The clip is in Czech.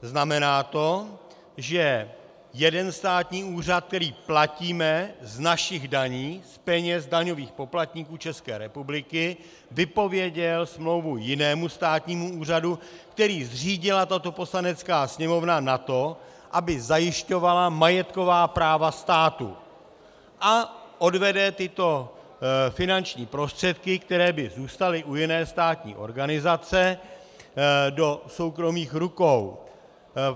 Znamená to, že jeden státní úřad, který platíme z našich daní, z peněz daňových poplatníků České republiky, vypověděl smlouvu jinému státnímu úřadu, který zřídila tato Poslanecká sněmovna na to, aby zajišťovala majetková práva státu, a odvede tyto finanční prostředky, které by zůstaly u jiné státní organizace, do soukromých rukou.